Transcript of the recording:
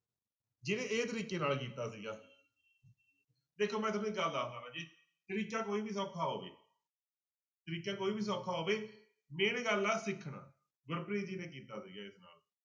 ਜਿਹਨੇ ਇਹ ਤਰੀਕੇ ਨਾਲ ਕੀਤਾ ਸੀਗਾ ਇੱਕ ਮੈਂ ਤੁਹਾਨੂੰ ਇੱਕ ਗੱਲ ਦੱਸਦਾਂ ਰਾਜੇ ਤਰੀਕਾ ਕੋਈ ਵੀ ਸੌਖਾ ਹੋਵੇ ਤਰੀਕਾ ਕੋਈ ਵੀ ਸੌਖਾ ਹੋਵੇ main ਗੱਲ ਆ ਸਿੱਖਣਾ ਮਨਪ੍ਰੀਤ ਜੀ ਨੇ ਕੀਤਾ ਸੀਗਾ ਇਸ ਨਾਲ।